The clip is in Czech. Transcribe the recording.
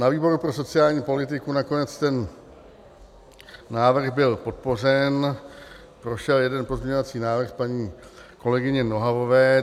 Na výboru pro sociální politiku nakonec ten návrh byl podpořen, prošel jeden pozměňovací návrh paní kolegyně Nohavové.